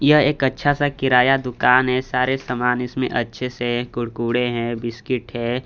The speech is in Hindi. यह एक अच्छा सा किराया दुकान हैं सारे सामान इसमें अच्छे से कुड़कुडे हैं बिस्किट हैं।